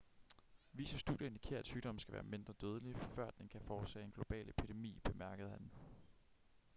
visse studier indikerer at sygdommen skal være mindre dødelig før den kan forårsage en global epidemi bemærkede han